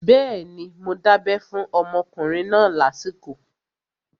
Bẹ́ẹ̀ni, mo dábẹ́ fún ọmọkùnrin náà lásìkò